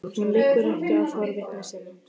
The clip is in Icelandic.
Hún liggur ekki á forvitni sinni.